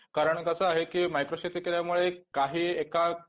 कारण कसं आहे की मेयक्रो शेती केल्यामुळे काही एका